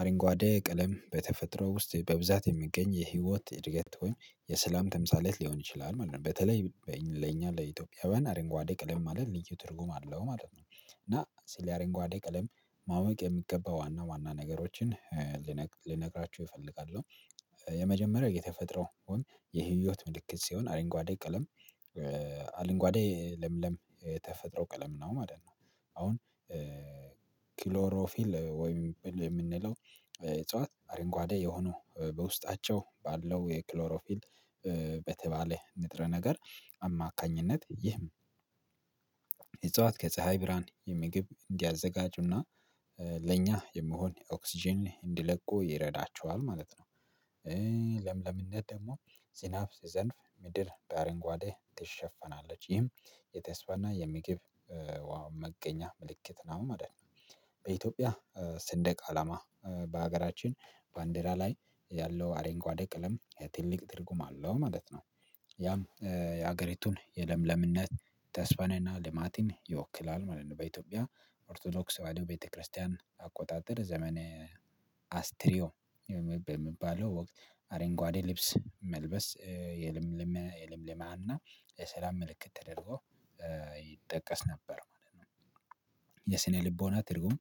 አረንጓዴ ቀለም በተፈጥሮ ውስጥ በብዛት የሚገኝ የህይወት እድገት ወይም የሰላም ተምሳሌት ሊሆን ይችላል ማለት ነው። በተለይ ለኛ ለኢትዮጵያዊያን አረንጓዴ ቀለም ማለት ልዩ ትርጉም አለው ማለት ነው። እና ስለ አረንጓዴ ቀለም ማወቅ የሚገባው ዋና ዋና ነገሮችን ልነግራችሁ እፈልጋለሁ። የመጀመሪያው የተፈጥሮ ወይም የህይወት ምልክት ሲሆን አረንጓዴ ቀለም አረንጓዴ ለምለም የተፈጥሮ ቀለም ነው ማለት ነው። አሁን ክሎሮፊል ወይም የምንለው እጽዋት አረንጓዴ የሆኑ በውስጣቸው ባለው የክሎሮፊል በተባለ ንጥረ ነገር አማካኝነት ይህም እጽዋት ከፀሀይ ብርሃን ምግብ እንዲያዘጋጁና ለእኛ የሚሆን ኦክስጅን እንዲለቁ ይረዳቸዋል ማለት ነው። ደግሞ ዜናብ ሲዘንብ ምድር በአረንጓዴ ትሸፈናለች። ይህም የተስፋና የምግብ ውሃው መገኛ ምልክት ነው ማለት ነው። በኢትዮጵያ ሰንደቅ አላማ በሀገራችን ባንዴራ ላይ ያለው አረንጓዴ ቀለም ትልቅ ትርጉም አለው ማለት ነው። ያም የሀገሪቱን የለምለምነት፣ ተስፋንና ልማትን ይወክላል ማለት ነው። በኢትዮጵያ ኦርቶዶክስ ተዋህዶ ቤተክርስቲያን አቆጣጠር ዘመነ አስትሪዮ የሚባለው ወቅት አረንጓዴ ልብስ መልበስ የለምለም የለምለማ እና የሰላም ምልክት ተደርጎ ይጠቀስ ነበር ማለት ነው። የስነ ልቦና ትርጉም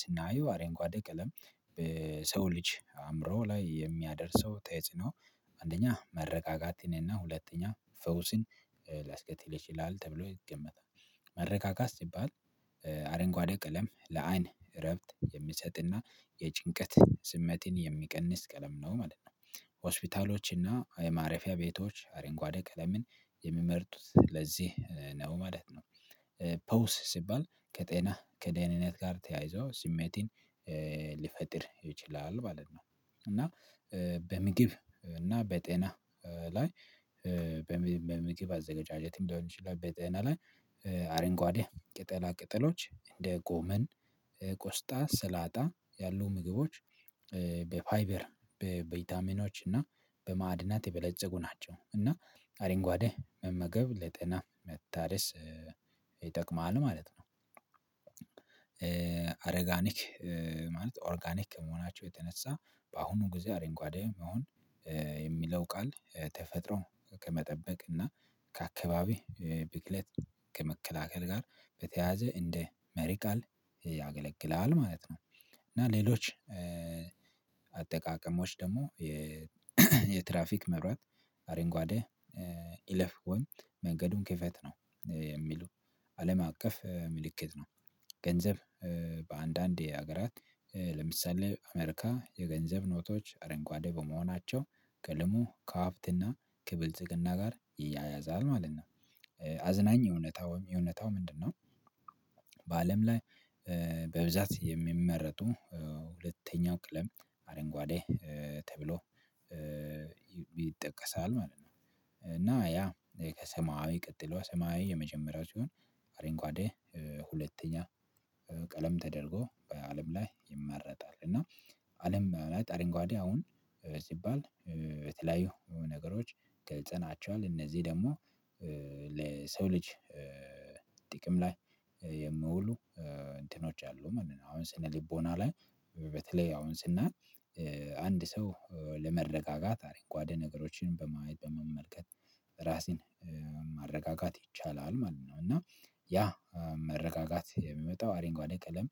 ስናየው አረንጓዴ ቀለም በሰው ልጅ አእምሮ ላይ የሚያደርሰው ተጽዕኖ አንደኛ መረጋጋት፣ ሁለተኛ ፈውስን ሊያስከትል ይችላል ተብሎ ይገመታል። መረጋጋት ሲባል አረንጓዴ ቀለም ለአይን እረፍት የሚሰጥና የጭንቀት ስሜትን የሚቀንስ ቀለም ነው ማለት ነው። ሆስፒታሎች እና የማረፊያ ቤቶች አረንጓዴ ቀለምን የሚመርጡት ለዚህ ነው ማለት ነው። ፈውስ ሲባል ከጤና ከደህንነት ጋር ተያይዞ ስሜትን ሊፈጥር ይችላል ማለት ነው። እና በምግብ እና በጤና ላይ በምግብ አዘጋጀትም ሊሆን ይችላል በጤና ላይ አረንጓዴ ቅጠላ ቅጠሎች እንደ ጎመን፣ ቆስጣ፣ ስላጣ ያሉ ምግቦች በፋይበር፣ በቬታሚኖች እና በማዕድናት የበለፀጉ ናቸው። እና አረንጓዴ መመገብ ለጤና መታደስ ይጠቅማል ማለት ነው። ኦርጋኒክ ማለት ኦርጋኒክ ከመሆናቸው የተነሳ በአሁኑ ጊዜ አረንጓዴ መሆን የሚለው ቃል ተፈጥሮ ከመጠበቅ እና ከአካባቢ ብክለት ከመከላከል ጋር በተያያዘ እንደ መሪ ቃል ያገለግላል ማለት ነው። እና ሌሎች አጠቃቀሞች ደግሞ የ የትራፊክ መብራት አረንጓዴ እለፍ ወይ መንገዱን ክፍት ነው የሚሉ አለም አቀፍ ምልክት ነው። ገንዘብ በአንዳንድ የሀገራት ለምሳሌ አሜሪካ የገንዘብ ኖቶች አረንጓዴ በመሆናቸው ከልሙ ከሀብትና ከብልጽግና ጋር ይያያዛል ማለት ነው። አዝናኝ እውነታ ውይም እውነታው ምንድነው? በአለም ላይ በብዛት የሚመረጡ ሁለተኛው ቀለም አረንጓዴ ተብሎ ይጠቀሳል ማለት ነው። እና ያ ከሰማያዊ ቀጥሎ ሰማያዊ የመጀመሪያው ሲሆን አረንጓዴ ሁለተኛ ቀለም ተደርጎ በአለም ላይ ይመረጣል። እና አለም ላይ አረንጓዴ አሁን ሲባል በተለያዩ ነገሮች ገልጸናቸዋል። እነዚህ ደግሞ ለሰው ልጅ ጥቅም ላይ የሚውሉ እንትኖች አሉ ማለት ነው። አሁን ስነ ልቦና ላይ በተለይ አሁን ስናይ አንድ ሰው ለመረጋጋት አረንጓዴ ነገሮችንም በመመልከት ራስን ማረጋጋት ይቻላል ማለት ነው እና ያ መረጋጋት የሚመጣው አረንጓዴ ቀለም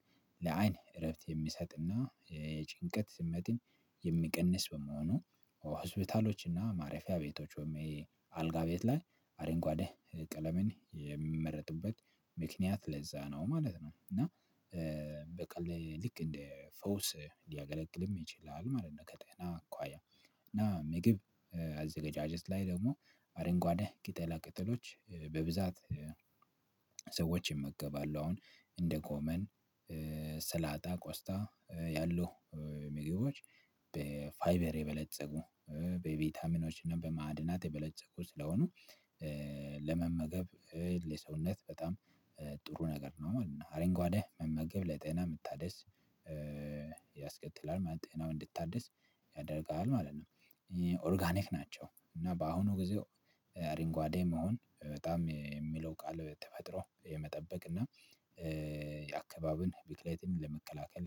ለአይን እረፍት የሚሰጥና የጭንቀት ስሜትን የሚቀንስ በመሆኑ ሆስፒታሎችና ማረፊያ ቤቶች ወይም አልጋ ቤት ላይ አረንጓዴ ቀለምን የሚመረጥበት ምክንያት ለዛ ነው ማለት ነው። እና ልክ እንደ ፈውስ ሊያገለግልም ይችላል ማለት ነው። ከጤና አኳያ እና ምግብ አዘጋጀት ላይ ደግሞ አረንጓዴ ቅጠላ ቅጠሎች በብዛት ሰዎች ይመገባሉ አሁን እንደጎመን፣ ሰላጣ፣ ቆስታ ያሊ ምግቦች በፋይበር የበለፀጉ በቢታሚኖች እና በማዕድናት የበለፀጉ ስለሆኑ ለመመገብ ለሰውነት በጣም ጥሩ ነገር ነው ማለት ነው። አረንጓዴ መመገብ ለጤና መታደስ ያስከትላል። ጤናው እንዲታደስ ያደርጋል ማለት ነው። ኦርጋኒክ ናቸው። እና በአሁኑ ጊዜ አረንጓዴ መሆን በጣም የሚለው ቃል ተፈጥሮ የመጠበቅ እና የአካባቢን ብክለትን ለመከላከል